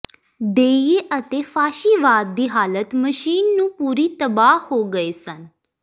ਦੇਈਏ ਅਤੇ ਫਾਸ਼ੀਵਾਦ ਦੀ ਹਾਲਤ ਮਸ਼ੀਨ ਨੂੰ ਪੂਰੀ ਤਬਾਹ ਹੋ ਗਏ ਸਨ